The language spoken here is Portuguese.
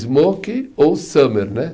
Smoking ou Summer, né?